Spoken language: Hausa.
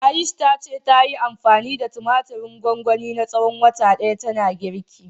Ayush ta ce, tayi anfani da tumatirin gwangwani na tsawon wata ɗaya tana girki.